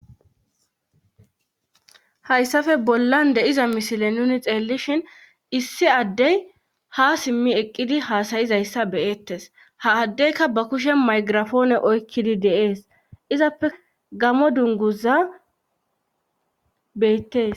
Hayssafe bollan de'iza misile nuni xeellishhin issi addey ha simmi eqqidi haasayizayssa beyettes ha addeyka ba kushe maygirafoone oykkidi deees izappe gamo dunguza beettes.